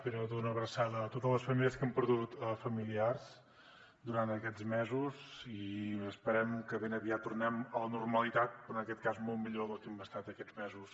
primer de tot una abraçada a totes les famílies que han perdut familiars durant aquests mesos i esperem que ben aviat tornem a la normalitat però en aquest cas molt millor del que hem estat aquests mesos